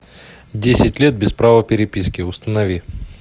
десять лет без права переписки установи